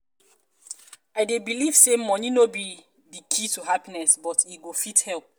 i dey believe say money no be di key to happiness but e go fit help.